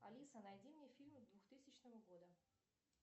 алиса найди мне фильмы двухтысячного года